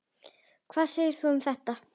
Hvað segir þú um þetta?